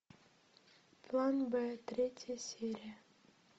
план б третья серия